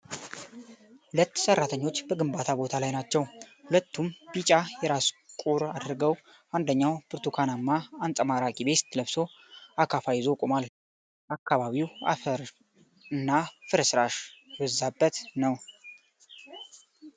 ሁለት ሰራተኞች በግንባታ ቦታ ላይ ናቸው። ሁለቱም ቢጫ የራስ ቁር አድርገው አንደኛው ብርቱካንማ አንጸባራቂ ቬስት ለብሶ አካፋ ይዞ ቆሟል። አካባቢው አፈርና ፍርስራሽ የበዛበት ነው።